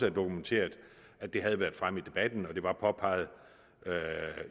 er dokumenteret at det havde været fremme i debatten og at det var påpeget